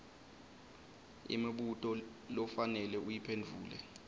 imibuto lofanele uyiphendvule